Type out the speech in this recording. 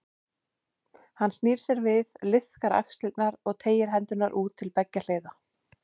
Hann snýr sér við, liðkar axlirnar og teygir hendurnar út til beggja hliða.